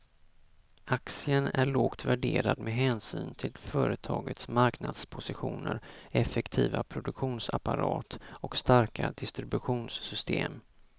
Aktien är lågt värderad med hänsyn till företagets marknadspositioner, effektiva produktionsapparat och starka distributionssystem.